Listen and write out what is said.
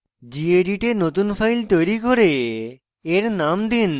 gedit a নতুন file তৈরী করে